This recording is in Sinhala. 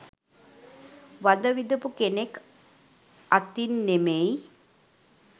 වද විඳපු කෙනෙක් අතින් නෙමෙයි